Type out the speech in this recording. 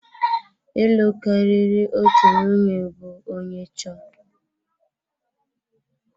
Ịlụ karịrị otu nwunye bụ onye chọọ.